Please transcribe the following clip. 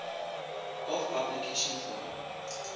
of application for